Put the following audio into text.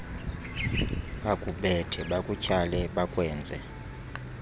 bakubethe bakutyhale bakwenze